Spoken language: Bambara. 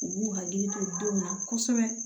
U b'u hakili to denw na kosɛbɛ